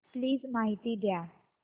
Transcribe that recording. please माहिती द्या